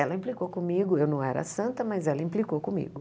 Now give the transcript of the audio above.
Ela implicou comigo, eu não era santa, mas ela implicou comigo.